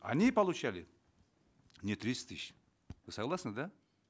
они получали не тридцать тысяч вы согласны да